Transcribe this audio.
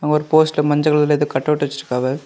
ஒரு போஸ்ட்ல மஞ்சள் கலர்ல ஏதோ கட் அவுட் வச்சிருக்காவ.